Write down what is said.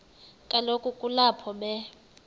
kaloku kulapho be